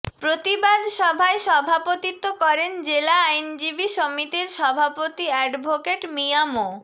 প্রতিবাদ সভায় সভাপতিত্ব করেন জেলা আইনজীবী সমিতির সভাপতি অ্যাডভোকেট মিয়া মো